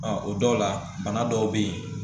o dɔw la bana dɔw bɛ yen